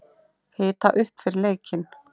Hita upp fyrir leikinn?